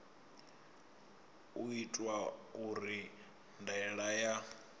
u itwa uri ndaela ya